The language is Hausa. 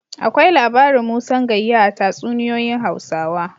Akwai labarin Musan Gayya a tatsuniyoyin Hausawa.